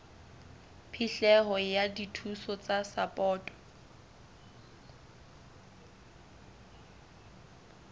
phihlelo ya dithuso tsa sapoto